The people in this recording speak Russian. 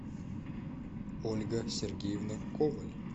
ольга сергеевна коваль